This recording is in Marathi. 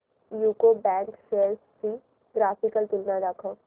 यूको बँक शेअर्स ची ग्राफिकल तुलना दाखव